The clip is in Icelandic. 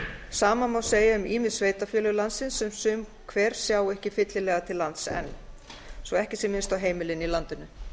sama má segja um ýmis sveitarfélög landsins sem sum hver sjá ekki fyllilega til lands enn svo ekki sé minnst á heimilin í landinu